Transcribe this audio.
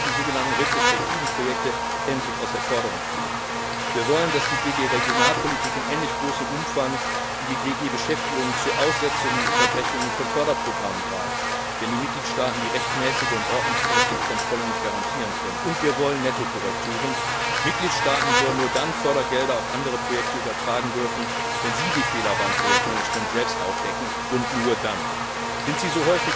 Wir wollen, dass die sogenannten retrospektiven Projekte endlich aus der Förderung herausgenommen werden. Wir wollen, dass die GD Regionalpolitik in ähnlich großem Umfang wie die GD Beschäftigung zu Aussetzungen und Unterbrechungen von Förderprogrammen greift, wenn die Mitgliedstaaten die rechtmäßige und ordnungsmäßige Kontrolle nicht garantieren können, und wir wollen Nettokorrekturen Mitgliedstaaten sollen nur dann Fördergelder auf andere Projekte übertragen dürfen, wenn sie die Fehler beim Projektmanagement selbst aufdecken. Sind